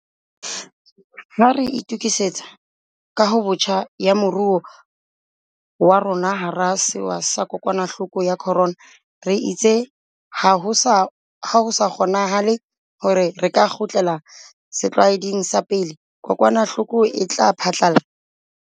Ha re itukisetsa kahobotjha ya moruo wa rona hara sewa sa kokwanahloko ya corona, re itse ha ho sa kgonanahale hore re ka kgutlela setlwaeding sa pele kokwanahloko e phahlalla.